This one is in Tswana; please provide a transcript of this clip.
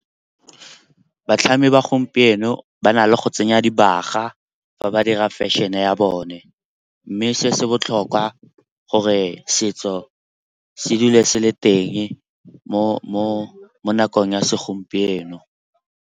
Batlhami ba gompieno ba na le go tsenya dibaga fa ba dira fashion-e ya bone. Mme se se botlhokwa gore setso se dule se le teng mo nakong ya segompieno.